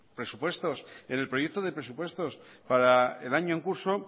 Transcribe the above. presupuestos en el proyecto de presupuestos para el año en curso